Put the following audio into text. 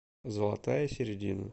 золотая середина